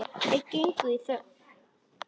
Þeir gengu í þögn.